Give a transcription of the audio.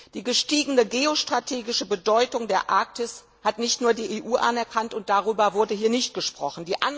Die gestiegene geostrategische Bedeutung der Arktis hat nicht nur die EU anerkannt und darüber wurde hier nicht gesprochen.